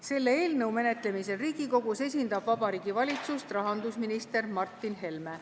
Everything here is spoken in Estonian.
Selle eelnõu menetlemisel Riigikogus esindab Vabariigi Valitsust rahandusminister Martin Helme.